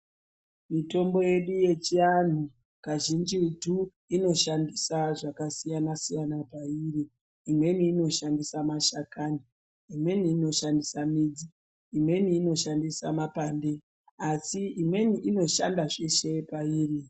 Mitombo yedu yechiantu kazhinjitu inoshandisa zvakasiyana siyana pairi imweni inoshandisa mashakani imweni inoshandisa midzi imweni inoshandisa mapande asi imweni inoshanda zveshe pairi.